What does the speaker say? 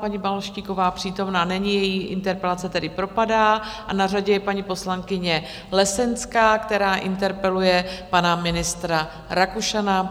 Paní Balaštíková přítomna není, její interpelace tedy propadá, a na řadě je paní poslankyně Lesenská, která interpeluje pana ministra Rakušana.